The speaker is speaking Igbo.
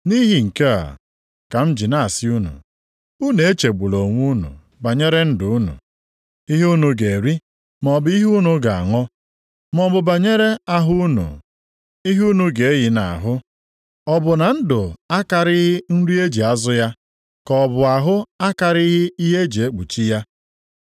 “Nʼihi nke a ka m ji na-asị unu, unu echegbula onwe unu banyere ndụ unu, ihe unu ga-eri, maọbụ ihe unu ga-aṅụ, maọbụ banyere ahụ unu, ihe unu ga-eyi nʼahụ. Ọ bụ ndụ akarịghị nri eji azụ ya, ka ọ bụ ahụ akarịghị ihe e ji ekpuchi ya?